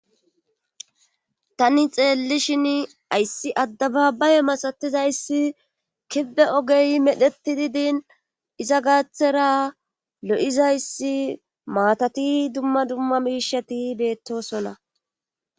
Tani xeelli shin ayssi addabaabaye masatizayssi kibbe ogey medhetidi din iza gaaththera lo'izayssi maatati dumma dumma miishati beettosona.